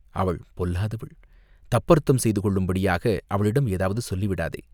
அவள் பொல்லாதவள், தப்பர்த்தம் செய்து கொள்ளும்படியாக அவளிடம் எதாவது சொல்லிவிடாதே.